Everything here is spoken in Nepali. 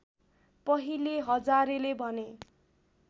पहिले हजारेले भने